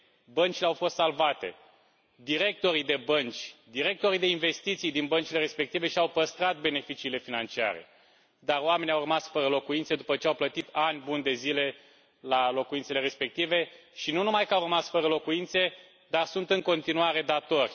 Băncile au fost salvate, directorii de bănci, directorii de investiții din băncile respective și au păstrat beneficiile financiare, dar oamenii au rămas fără locuințe după ce au plătit ani buni de zile la locuințele respective și nu numai că au rămas fără locuințe, dar sunt în continuare datori.